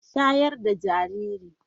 Shayar da jariri!